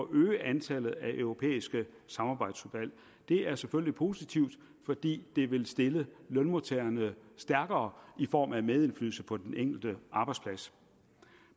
øge antallet af europæiske samarbejdsudvalg det er selvfølgelig positivt fordi det vil stille lønmodtagerne stærkere i form af medindflydelse på den enkelte arbejdsplads